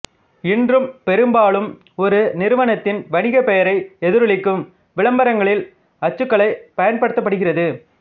இன்று பெரும்பாலும் ஒரு நிறுவனத்தின் வணிகப்பெயரை எதிரொளிக்கும் விளம்பரங்களில் அச்சுக்கலைப் பயன்படுத்தப்படுகிறது